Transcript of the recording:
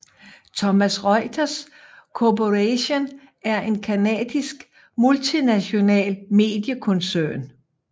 Thomson Reuters Corporation er en canadisk multinational mediekoncern